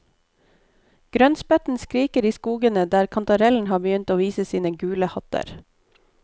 Grønnspetten skriker i skogen der kantarellen har begynt å vise sine gule hatter.